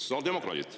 Sotsiaaldemokraadid.